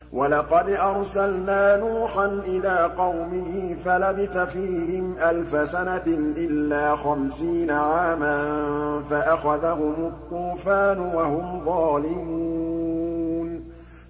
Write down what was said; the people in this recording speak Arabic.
وَلَقَدْ أَرْسَلْنَا نُوحًا إِلَىٰ قَوْمِهِ فَلَبِثَ فِيهِمْ أَلْفَ سَنَةٍ إِلَّا خَمْسِينَ عَامًا فَأَخَذَهُمُ الطُّوفَانُ وَهُمْ ظَالِمُونَ